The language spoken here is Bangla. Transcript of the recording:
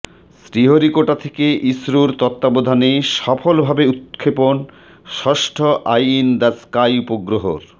শ্রীহরিকোটা থেকে ইসরোর তত্ত্বাবধানে সফলভাবে উত্ক্ষেপণ ষষ্ঠ আই ইন দ্য স্কাই উপগ্রহর